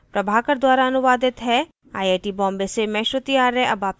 यह स्क्रिप्ट प्रभाकर द्वारा अनुवादित है आई आई टी बॉम्बे से मैं श्रुति आर्य अब आपसे विदा लेती हूँ